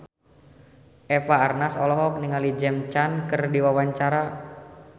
Eva Arnaz olohok ningali James Caan keur diwawancara